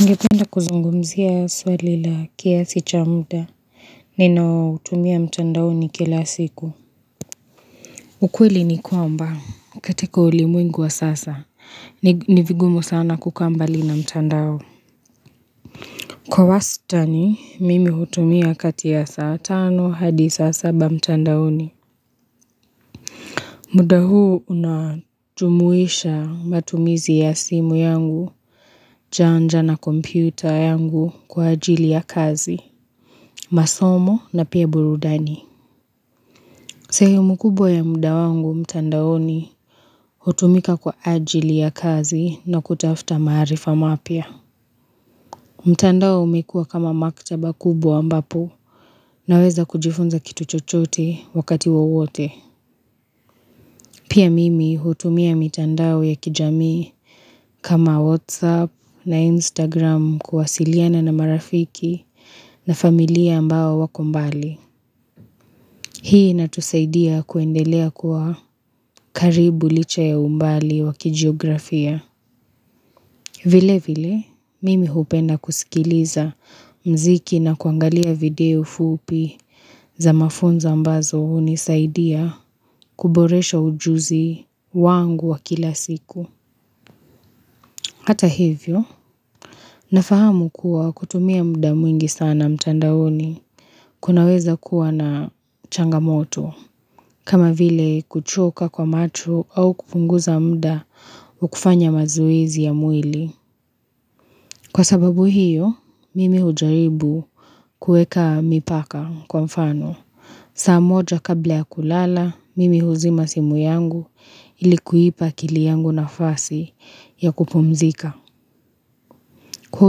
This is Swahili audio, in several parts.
Ningependa kuzungumzia swali la kiasi cha muda. Ninaotumia mtandaoni kila siku. Ukweli ni kwamba. Katika ulimwengu wa sasa. Ni vigumu sana kukambali na mtandao. Kwa wastani, mimi hutumia kati ya saa tano hadi saa saba mtandaoni. Muda huu unajumuisha matumizi ya simu yangu. Janja na kompüta yangu kwa ajili ya kazi. Masomo na pia burudani sehemu kubwa ya muda wangu mtandaoni hutumika kwa ajili ya kazi na kutafuta maarifa mapya mtandao umekuwa kama maktaba kubwa ambapo Naweza kujifunza kitu chochote wakati wowote Pia mimi hutumia mitandao ya kijamii kama Whatsapp na Instagram kuwasiliana na marafiki na familia ambao wako mbali Hii inatusaidia kuendelea kuwa karibu licha ya umbali wakijiografia. Vile vile, mimi hupenda kusikiliza mziki na kuangalia video fupi za mafunzo ambazo hunisaidia kuboresha ujuzi wangu wa kila siku. Hata hivyo, ninafahamu kuwa kutumia muda mwingi sana mtandaoni kunaweza kuwa na changamoto. Kama vile kuchoka kwa macho au kupunguza muda wa kufanya mazoezi ya mwili. Kwa sababu hiyo, mimi hujaribu kuweka mipaka kwa mfano. Saa moja kabla ya kulala, mimi huzima simu yangu ilikuipa kili yangu nafasi ya kupumzika. Kwa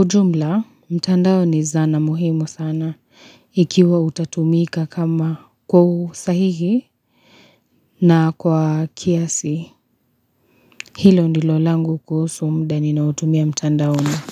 ujumla, mtandao ni zana muhimu sana ikiwa utatumika kama kwa usahihi na kwa kiasi. Hilo ndilo langu kuhusu muda ninaotumia mtandaoni.